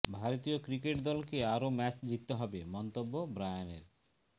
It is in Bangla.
ভারতীয় ক্রিকেট দলকে আরও ম্যাচ জিততে হবে মন্তব্য ব্রায়ানের